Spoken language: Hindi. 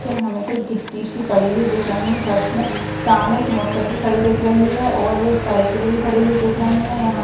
नीचे हमे कुछ गिट्टी सी पड़ी हुई दिख रहीं फर्श में सामने एक मोटरसाइकिल खड़ी दिख रही है और साइकिल भी खड़ी हुई दिख रहीं हैं यहां--